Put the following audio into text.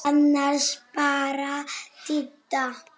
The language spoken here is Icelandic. Annars bara Didda.